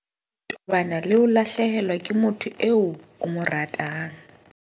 Tobana le ho lahlehelwa ke motho eo o mo ratang.